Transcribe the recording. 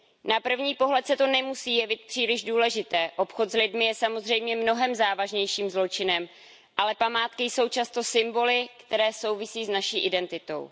Na první pohled se to nemusí jevit příliš důležité, obchod s lidmi je samozřejmě mnohem závažnějším zločinem, ale památky jsou často symboly, které souvisí s naší identitou.